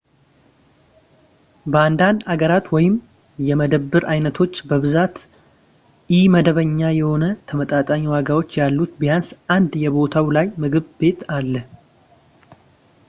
በአንዳንድ ሃገራት ወይም የመደብር ዓይነቶች በብዛት ኢመደበኛ የሆነ ተመጣጣኝ ዋጋዎች ያሉት ቢያንስ አንድ የቦታው ላይ ምግብ ቤት አለ